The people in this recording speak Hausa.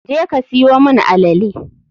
je ka siyo mun alele.